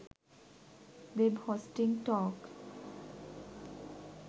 web hosting talk